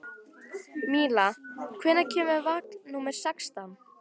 Míla, hvenær kemur vagn númer sextán?